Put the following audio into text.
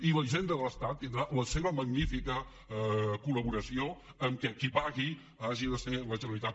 i la hisenda de l’estat tindrà la seva magnífica col·laboració perquè qui pagui hagi de ser la generalitat